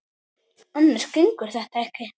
Annars gengur þetta ekki.